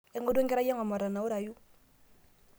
aingorua enkerai ang omatanawurayu